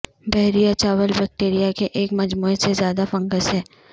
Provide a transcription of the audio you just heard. بحیرہ چاول بیکٹیریا کے ایک مجموعہ سے زیادہ فنگس ہے